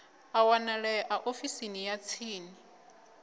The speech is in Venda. a wanalea ofisini ya tsini